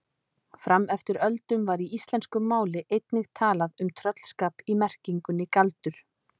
Fram eftir öldum var í íslensku máli einnig talað um tröllskap í merkingunni galdur.